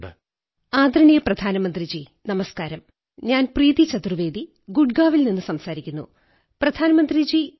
ബാപ്പു സർദാർ പട്ടേലിനെക്കുറിച്ചു പറഞ്ഞു അദ്ദേഹത്തിന്റെ തമാശനിറഞ്ഞ കാര്യങ്ങൾ കേട്ട് ചിരിച്ചു ചിരിച്ചു വയറുവേദനവന്നിരുന്നു